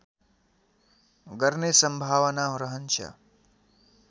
गर्ने सम्भावना रहन्छ